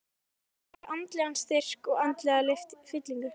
Trúin gefur andlegan styrk og andlega fyllingu.